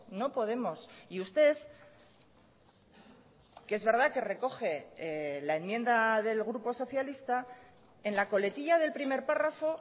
no podemos y usted que es verdad que recoge la enmienda del grupo socialista en la coletilla del primer párrafo